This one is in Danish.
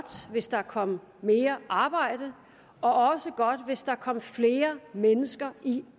hvis der kom mere arbejde og også godt hvis der kom flere mennesker i